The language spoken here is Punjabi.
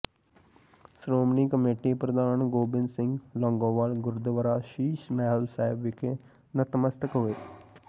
ਸ਼੍ਰੋਮਣੀ ਕਮੇਟੀ ਪ੍ਰਧਾਨ ਗੋਬਿੰਦ ਸਿੰਘ ਲੌਾਗੋਵਾਲ ਗੁਰਦੁਆਰਾ ਸ਼ੀਸ਼ ਮਹਿਲ ਸਾਹਿਬ ਵਿਖੇ ਨਤਮਸਤਕ ਹੋਏ